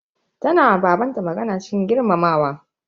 Tana ma baban ta magana cikin girmamawa.